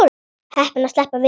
Heppin að sleppa við þær.